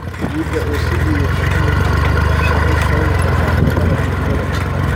Ciidda oo si liidata u miirtay waxay sababi kartaa cudurrada xididada dhirta.